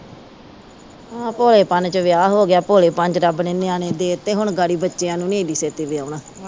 ਆ ਭੋਲੇਪਨ ਚ ਵਿਆਹ ਹੋਗਿਆ ਭੋਲੇਪਨ ਚ ਰੱਬ ਨੇ ਨਿਆਣੇ ਦੇਤੇ ਹੁਣ ਗਾੜੀ ਬੱਚਿਆਂ ਨੂੰ ਨਹੀਂ ਏਡੀ ਛੇਤੀ ਵਿਆਓਣਾ